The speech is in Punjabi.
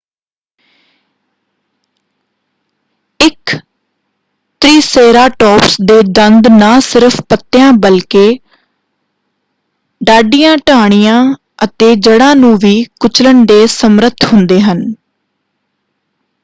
ਇਕ ਤ੍ਰਿਸੇਰਾਟੋਪਸ ਦੇ ਦੰਦ ਨਾ ਸਿਰਫ਼ ਪੱਤਿਆ ਬਲਕਿ ਡਾਢੀਆਂ ਟਾਹਣੀਆਂ ਅਤੇ ਜੜ੍ਹਾਂ ਨੂੰ ਵੀ ਕੁਚਲਣ ਦੇ ਸਮਰੱਥ ਹੁੰਦੇ ਹਨ।